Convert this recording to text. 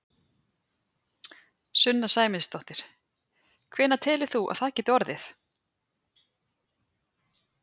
Sunna Sæmundsdóttir: Hvenær telur þú að það geti orðið?